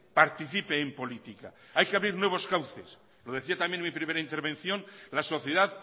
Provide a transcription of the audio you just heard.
participe en política hay que abrir nuevos cauces lo decía también en mi primera intervención la sociedad